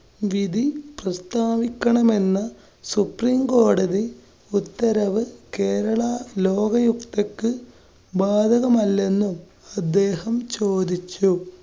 വിധി പ്രസ്ഥാവിക്കണമെന്ന സുപ്രീംകോടതി ഉത്തരവ്, കേരള ലോകയുക്തയ്ക്ക് ബാധകമല്ലെന്നും അദ്ദേഹം ചോദിച്ചു.